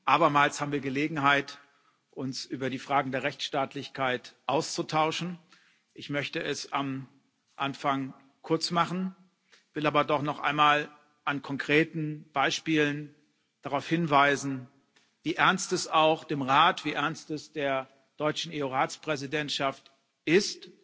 Abermals haben wir Gelegenheit, uns über die Fragen der Rechtsstaatlichkeit auszutauschen. Ich möchte es am Anfang kurz machen, will aber doch noch einmal an konkreten Beispielen darauf hinweisen, wie ernst es auch dem Rat, wie ernst es der deutschen EU Ratspräsidentschaft ist,